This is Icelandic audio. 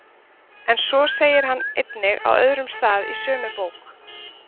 En svo segir hann einnig á öðrum stað í sömu bók: